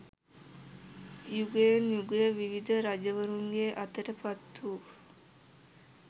යුගයෙන් යුගය විවිධ රජවරුන්ගේ අතට පත්වූ